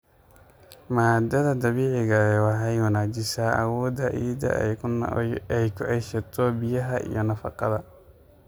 Maaddada dabiiciga ahi waxay wanaajisaa awoodda ciidda ay ku ceshato biyaha iyo nafaqada.